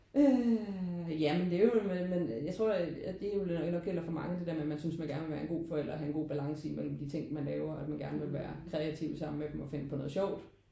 Øh ja men det er jo men men jeg tror at det er jo nok noget der gælder for mange. Det der med at man synes man gerne vil være en god forældre og have en god balance i mellem de ting man laver at man gerne vil være kreativt sammen med dem og finde på noget sjovt